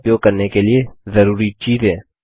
base का उपयोग करने के लिए जरूरी चीजें